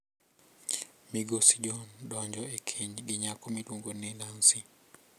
Migosi John donjo e keny gi nyako miluongo ni Nancy.